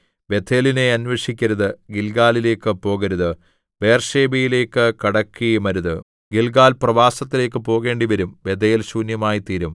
ബേഥേലിനെ അന്വേഷിക്കരുത് ഗില്ഗാലിലേയ്ക്ക് പോകരുത് ബേർശേബയിലേയ്ക്ക് കടക്കുകയുമരുത് ഗില്ഗാൽ പ്രവാസത്തിലേക്ക് പോകേണ്ടിവരും ബെഥേൽ ശൂന്യമായിത്തീരും